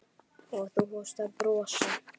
Og þú fórst að brosa.